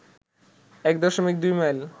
১ দশমিক ২ মাইল